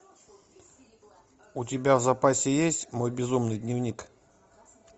у тебя в запасе есть мой безумный дневник